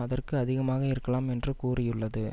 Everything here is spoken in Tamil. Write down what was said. அதற்கும் அதிகமாக இருக்கலாம் என்று கூறியுள்ளது